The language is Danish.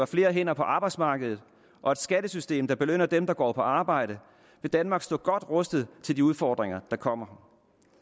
flere hænder på arbejdsmarkedet og et skattesystem der belønner dem der går på arbejde vil danmark stå godt rustet til de udfordringer der kommer